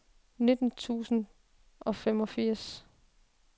nitten tusind og femogfirs